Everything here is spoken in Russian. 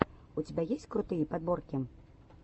у тебя есть крутые подборки